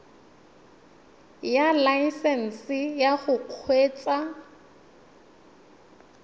ya laesesnse ya go kgweetsa